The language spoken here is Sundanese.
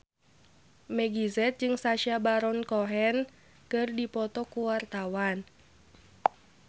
Meggie Z jeung Sacha Baron Cohen keur dipoto ku wartawan